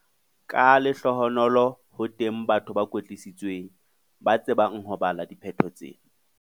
Ka lehlohonolo ho teng batho ba kwetlisitsweng, ba tsebang ho bala diphetho tsena.